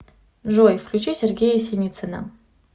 джой включи сергея синицына